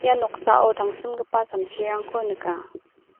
ia noksao tangsimgipa samsirangko nika.